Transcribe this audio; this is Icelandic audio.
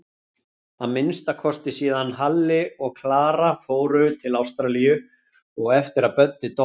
Að minnsta kosti síðan Halli og Klara fóru til Ástralíu og eftir að Böddi dó.